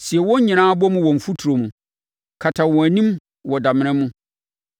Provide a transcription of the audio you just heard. Sie wɔn nyinaa bɔ mu wɔ mfuturo mu; kata wɔn anim wɔ damena mu.